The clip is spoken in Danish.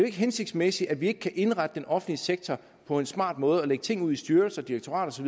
ikke hensigtsmæssigt at vi ikke kan indrette den offentlige sektor på en smart måde og lægge ting ud i styrelser direktorater